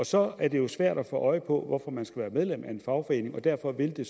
så er det jo svært at få øje på hvorfor man skal være medlem af en fagforening og derfor vil det